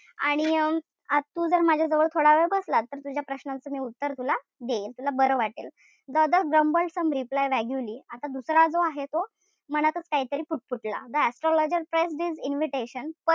आणि अं आज तू जर माझ्याजवळ थोडावेळ बसला तर तुझ्या प्रश्नांचं उत्तर तुला मिळेल. तुला बरं वाटेल. The other grumbled some reply vaguely आता दुसरा जो आहे तो मनातच काहीतरी पुटपुटला. Astrloger pressed his invitation,